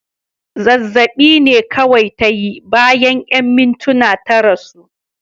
Zazzab'i ne kawai ta yi, bayan 'yan mintuna ta rasu.